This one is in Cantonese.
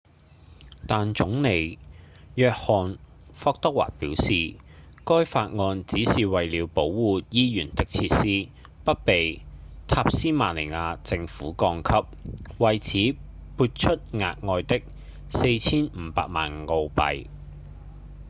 但總理約翰·霍華德表示該法案只是為了保護醫院的設施不被塔斯馬尼亞政府降級為此撥出額外的 4,500 萬澳幣